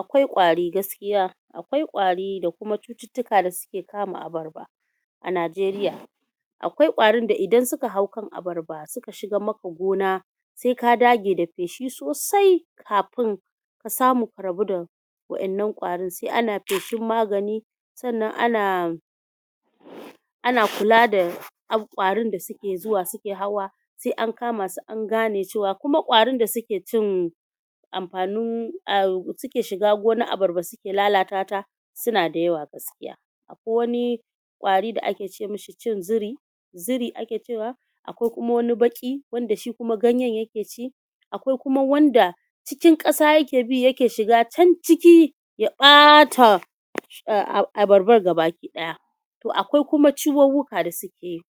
Akwai ƙwari gaskiya akwai ƙwari da kuma cututtuka da suke kama abarba. A Najeriya akwai ƙwarinda idan suka hau kan abarba suka shigan maka gona se ka dage da feshi sosai kafin ka samu ku rabu da waƴannan ƙwarin. Se ana feshin magani sannan ana ana kula da ƙwarin da suke zuwa su na hawa se an kama su an gane cewa, kuma ƙwarin da suke cin amfani, suke shiga gonar abarba suke lalatata su na da yawa. Gaskiya wani ƙwari da ake ce mishi cin ziri ziri ake cewa akwai kuma wani baƙi wanda shi ganye yake ci, akwai kuma wanda cikin ƙasa yake bi yake shiga can ciki ya ɓata abarbar baki ɗaya. To akwai kuma cuwuwuka da su keyi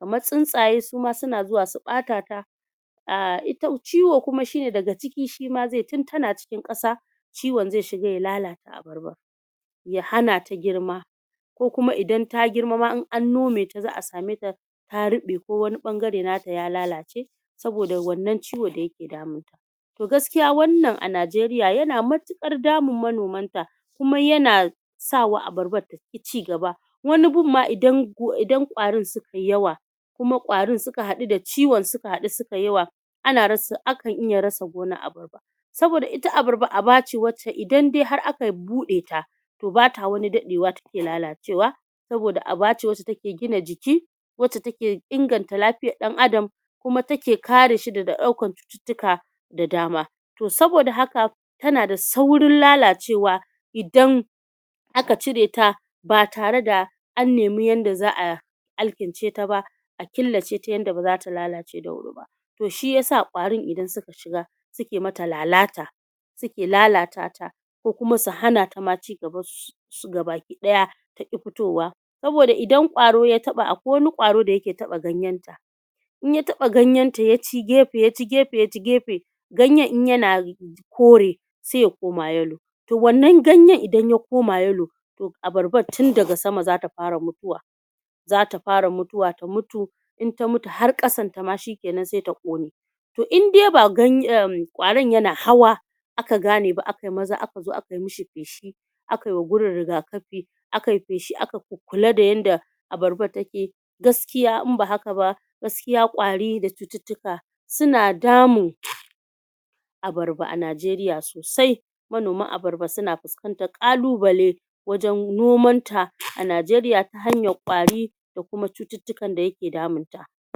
kaman tsuntsaye suma su na zuwa su ɓatata. A ciwo shine daga ciki shima zeyi tin ta na ƙasa ciwon ze shiga ya lalata abarban, ya hanata girma ko kuma idan ta girma ma in an nomata za'a sameta ta riɓe ko kuma wani ɓangare nata ya lalace. Saboda wannan ciwo da yake damun ta. To gaskiya wannan a Najeriya ya na matuƙar damun manoman ta kuma ya na sawa abarbar taƙi cigaba. Wani gun ma idan kwarin sukai yawa kuma kwarin suka haɗu da ciwon sukai yawa akan iya rasa gona saboda ita abarba abace wanda idan dai aka buɗeta, to bata wani dadewa take lalacewa saboda abace wanda take gina jiki, wacce take inganta lafiyan ɗan adam kuma take kareshi daga ɗaukan jika da dama. To saboda haka ta na da saurin lalacewa idan aka cireta batare da an nemi yanda za'a alkinceta ba, a killaceta yadda ba zata lalace da wuri ba. To shi ya sa idan kwarin suka shiga suke mata lalata suke lalatata ko kuma su hanata ma cigaba, su ga baki ɗaya taƙi fitowa saboda idan ƙwaro ya taɓa akwai wani ƙwaro da yake taɓa ganyenta, idan ya taɓa ganyenta yaci gefe ya ci gefe gayen in ya na kore se ya koma yellow. To wannan ganye idan ya koma yellow to abarbar tun daga sama zata fara mutuwa, zata fara mutuwa ta mutu. In ta mutu har ƙasan ta ma seta ƙone, to indai ƙwaron ya na hawa aka gane ba akai maza akai mishi feshi, akai wa gurin riga kafi, akai feshi, akai kul kula da yanda abarbar take. Gaskiya in ba haka ba gaskiya ƙwari da cututtuka su na damun abarba a Najeriya sosai. Manoman abarba su na fuskantar ƙalubale wajan nomanta a Najeriya. hanyan ƙwari da kuma cututtuka da yake damunta.